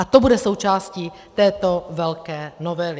A to bude součástí této velké novely.